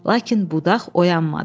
Lakin budaq oyanmadı.